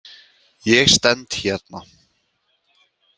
Ég stend hérna.